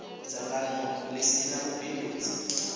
dzangano ḽi si ḽa vhubindudzi